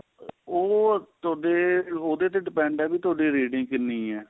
ਉਹ ਤੁਹਾਡੇ ਉਹਦੇ ਤੇ depend ਏ ਵੀ ਤੁਹਾਡੀ rating ਕਿੰਨੀ ਏ